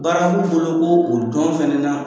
Baara b'u bolo ko o don fɛnɛ na